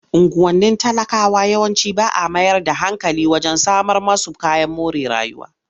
Unguwannin talakawa yawanci ba a mayar da hankali wajen samar musu kayan more rayuwa.